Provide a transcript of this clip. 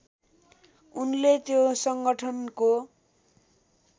उनले त्यो सङ्गठनको